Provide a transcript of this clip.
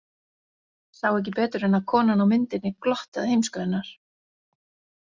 Sá ekki betur en að konan á myndinni glotti að heimsku hennar.